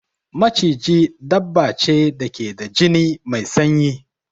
Maciji dabba ce da ke da jini mai sanyi.